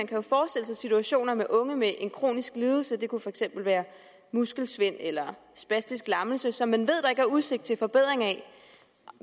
kan forestille sig situationer med unge med en kronisk lidelse det kunne for eksempel være muskelsvind eller spastisk lammelse som man ved der ikke er udsigt til bedring af